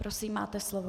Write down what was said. Prosím, máte slovo.